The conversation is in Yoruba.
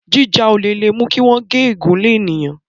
jíjà olè lè mú kí wón gé egún lẹ ènìyàn